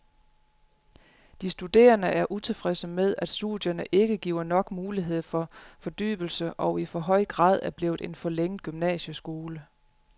De studerende er utilfredse med, at studierne ikke giver nok mulighed for fordybelse og i for høj grad er blevet en forlænget gymnasieskole.